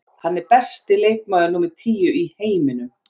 Hann er besti leikmaður númer tíu í heiminum.